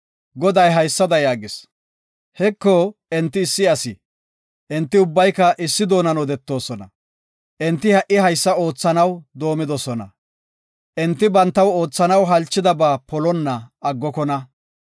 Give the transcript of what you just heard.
Goday haysada yaagis; “Heko, enti issi asi; enti ubbayka issi doonan odetidosona. Enti ha7i haysa oothanaw doomidosona. Enti bantaw oothanaw halchidaba polonna aggokona.